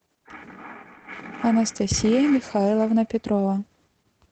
анастасия михайловна петрова